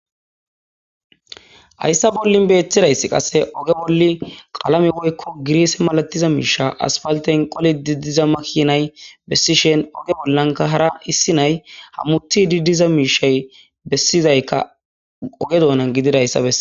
Hayssa bollin beetidayssi qasse oge bolli qalame woykko giriise malatiza miisha asfalten qole di diza makinay bessishen oge bollanka hara issi nay hammutidi diza miishay bessizaykka oge doonan gididayssa besse